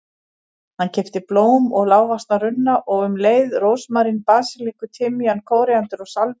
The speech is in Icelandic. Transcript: Hann keypti blóm og lágvaxna runna og um leið rósmarín, basilíku, timjan, kóríander og salvíu.